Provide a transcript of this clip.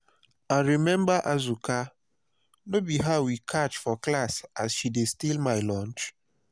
i remember azuka no be her we catch for class as she dey steal my lunch